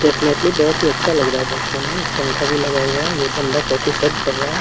Technically बहोत ही अच्छा लग रहा है देखने में एक पंखा भी लगा हुआ है ये बंदा कॉफी सर्व कर रहा है ।